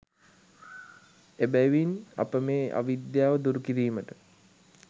එබැවින් අප මේ අවිද්‍යාව දුරු කිරීමට